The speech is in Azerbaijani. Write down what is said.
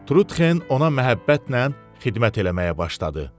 Trutxen ona məhəbbətlə xidmət eləməyə başladı.